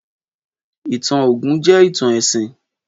Ìtàn Ògún jẹ́ ìtàn ẹ̀sìn.